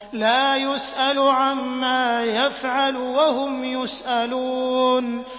لَا يُسْأَلُ عَمَّا يَفْعَلُ وَهُمْ يُسْأَلُونَ